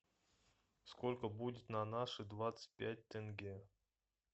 сколько будет на наши двадцать пять тенге